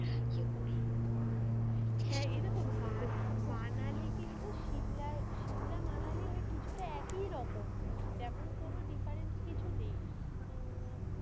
ইয়ে করি হ্যাঁ এই দেখো মা মা~ মানালি কিন্তু সিমলার সিমলা মানালি ওই কিছু টা একেই রকম, তেমন কোনো difference কিছু নেই মমম.